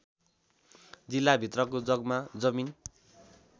जिल्लाभित्रको जग्गा जमिन